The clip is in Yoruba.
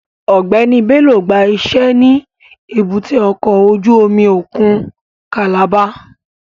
Ọgbẹni Bello gba ise ni èbúté ọkọ ojú omi okun Calabar